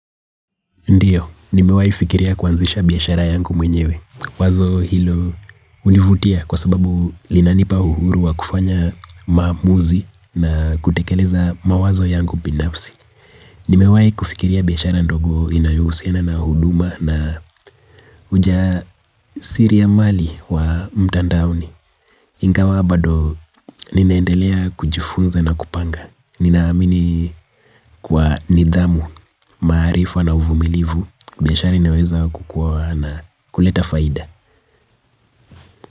Ndiyo, nimewaifikiria kuanzisha biashara yangu mwenyewe. Wazo hilo univutia kwa sababu linanipa uhuru wa kufanya maamuzi na kutekeleza mawazo yangu binafsi. Nimewaifikiria biashara ndogo inayohusiana na huduma na uja siri ya mali wa mtandaoni ingawa bado, ninaendelea kujifunza na kupanga. Ninaamini kwa nidhamu, maarifa na uvumilivu biashara inaweza kukua na kuleta faida.